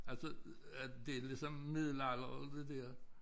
Altså øh det ligesom middelalderen det dér